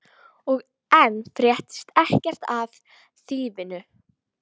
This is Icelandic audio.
Og enn fréttist ekkert af þýfinu.